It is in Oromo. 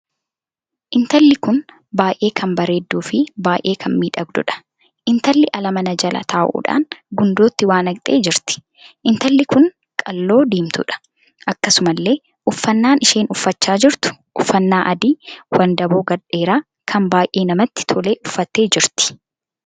Intalli kun baay'ee kan bareedduu fi baay'ee kan miidhagduudha. intalli ala mana jala taa'uudhaan gundootti waa naqxee jirtii. intalli kun qal'oo diimtuudha. akkasumallee uffannaan isheen uffachaa jirtu uffannaa adii wandaboo gad dheeraa kan baay'ee namatti tolu uffattee jirti.